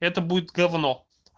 это будет говно